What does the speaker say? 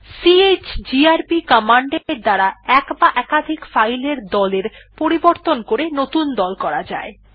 chgrp command এর দ্বারা এক বা একাধিক ফাইল এর দল এর পরিবর্তন করে নতুন দল করা যায়